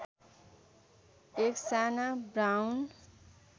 एक साना ब्राउन